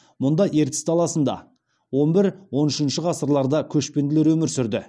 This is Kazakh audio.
мұнда ертіс даласында он бір он үшінші ғасырларда көшпенділер өмір сүрді